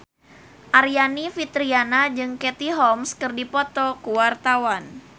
Aryani Fitriana jeung Katie Holmes keur dipoto ku wartawan